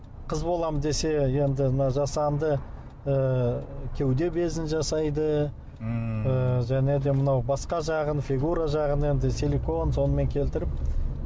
қыз боламын десе енді мына жасанды ы кеуде безін жасайды ммм ы және де мынау басқа жағын фигура жағын енді силикон сонымен келтіріп